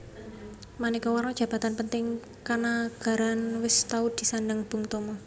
Manéka warna jabatan penting kanagaraan wis tau disandang Bung Tomo